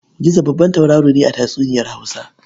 Gizo babban tauraro ne a tatsuniyar Hausa.